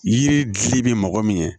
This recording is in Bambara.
Yiri fili bɛ mɔgɔ min ye